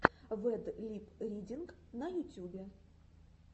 вэд лип ридинг на ютюбе